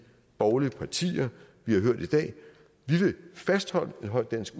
borgerlige partier vi har hørt i dag vi vil fastholde en høj dansk